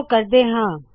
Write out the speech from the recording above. ਚਲੋ ਕਰਦੇ ਹਾ